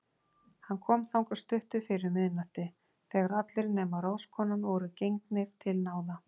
Hann kom þangað stuttu fyrir miðnætti, þegar allir nema ráðskonan voru gengnir til náða.